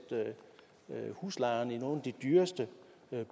huslejerne i nogle af de dyreste